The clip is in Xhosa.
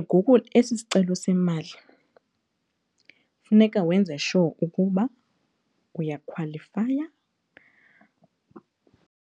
ngoku esi sicelo semali funeka wenze sure ukuba uyakhwalifaya.